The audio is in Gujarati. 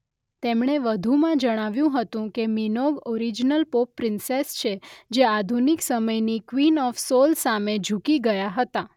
તેમણે વધુમાં જણાવ્યું હતું કે મિનોગ ઓરિજિનલ પોપ પ્રિન્સેસ છે જે આધુનિક સમયની ક્વીન ઓફ સોલ સામે ઝુકી ગયા હતા.